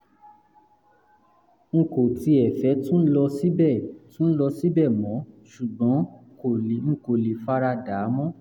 n kò tiẹ̀ fẹ́ tún lọ síbẹ̀ tún lọ síbẹ̀ mọ́ ṣùgbọ́n n kò lè fara dà á mọ́